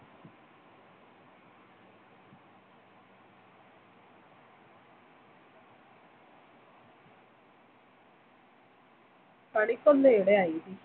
കണിക്കൊന്നയുടെ ഐതിഹ്യം